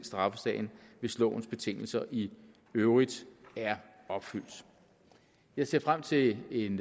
straffesagen hvis lovens betingelser i øvrigt er opfyldt jeg ser frem til en